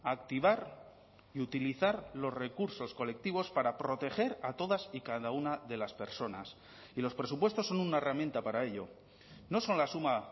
activar y utilizar los recursos colectivos para proteger a todas y cada una de las personas y los presupuestos son una herramienta para ello no son la suma